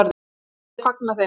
Ég fagna þeim.